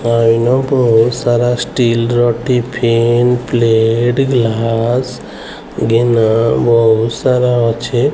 ଆଉ ଇନ ବହୁତ ସାରା ଷ୍ଟଲ୍ ର ଟିଫିନ୍ ପ୍ଲେଟ୍ ଗ୍ଲାସ୍ ଗିନା ବହୁତ୍ ସାର ଅଛି।